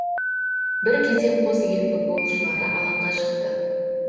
бір кезде қос ел футболшылары алаңға шықты